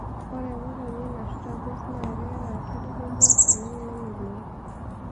ore emotonyi nashuta gos na keeta nkirri kumok oleng nemelook